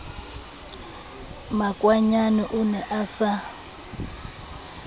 makwanyane o ne a sa